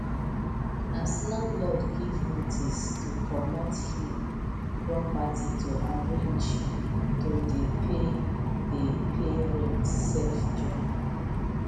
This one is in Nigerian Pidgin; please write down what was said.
as landlord give notice to comot hin property to arrange to dey pay dey pay rent sef join